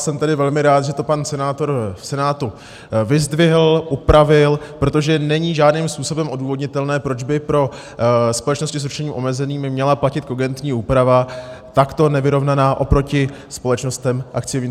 Jsem tedy velmi rád, že to pan senátor v Senátu vyzdvihl, upravil, protože není žádným způsobem odůvodnitelné, proč by pro společnosti s ručením omezeným měla platit kogentní úprava takto nevyrovnaná oproti společnostem akciovým.